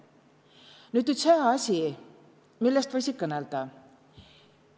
Nüüd üts hää asi, millest võisi kõnõlda.